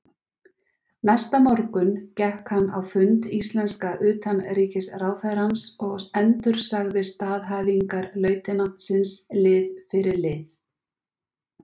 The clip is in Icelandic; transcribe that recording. Næsta morgun gekk hann á fund íslenska utanríkisráðherrans og endursagði staðhæfingar lautinantsins lið fyrir lið.